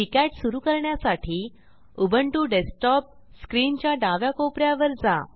KiCad सुरू करण्यासाठी Ubuntu desktop स्क्रीनच्या डाव्या कोप यात वर जा